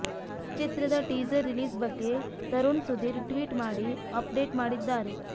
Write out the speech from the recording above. ಚಿತ್ರದ teaser release ಬಗ್ಗೆ Tarun Sudhir tweet ಮಾಡಿ ಅಪ್ ಡೇಟ್ ಮಾಡಿದ್ದಾರೆ